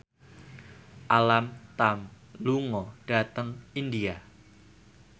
Alam Tam lunga dhateng India